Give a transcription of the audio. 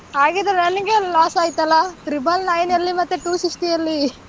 ಹಾಗಿದ್ರೆ ನನಗೇನೇ loss ಆಯ್ತಲ್ಲ, triple nine ಎಲ್ಲಿ ಮತ್ತೆ two sixty ಎಲ್ಲಿ?